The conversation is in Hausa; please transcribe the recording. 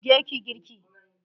Je ki yi girki!